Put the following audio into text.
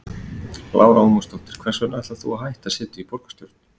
Lára Ómarsdóttir: Hvers vegna ætlar þú að hætta setu í borgarstjórn?